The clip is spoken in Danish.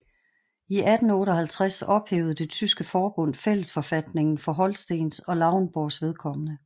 I 1858 ophævede det tyske forbund fællesforfatningen for Holstens og Lauenborgs vedkommende